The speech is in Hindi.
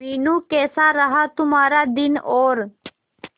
मीनू कैसा रहा तुम्हारा दिन और